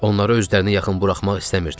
Onları özlərinə yaxın buraxmaq istəmirdilər.